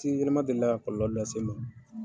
Ji yelema delila ka kɔlɔlɔ lase n ma.